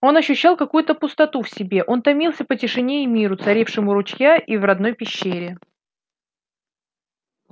он ощущал какую то пустоту в себе он томился по тишине и миру царившим у ручья и в родной пещере